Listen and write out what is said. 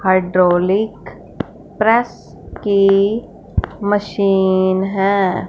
Hydraulic press की machine है।